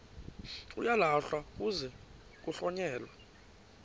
uyalahlwa kuze kuhlonyelwe